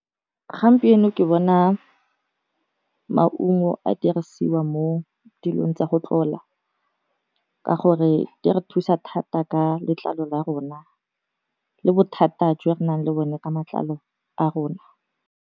Gampieno ke bona maungo a dirisiwa mo dilong tsa go tlola ka gore di re thusa thata ka letlalo la rona, le bothata jwa re nang le bone ka matlalo a rona.